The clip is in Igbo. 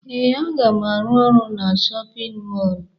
Ee, aga m arụ ọrụ na shọpịn mọọlụ.